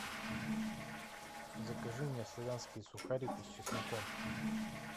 закажи мне славянские сухарики с чесноком